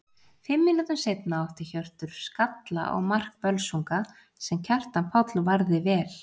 Fimm mínútum seinna átti Hjörtur skalla á mark Völsunga sem Kjartan Páll varði vel.